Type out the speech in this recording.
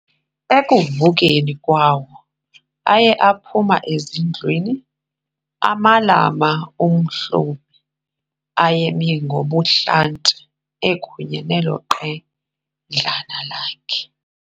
Ekuvukeni kwawo, aye aphuma ezindlwini, amalama uMhlomi ayame ngobuhlanti, ekunye nelo qedlana lakhe.